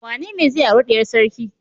Wanene zai auri diyar sarki?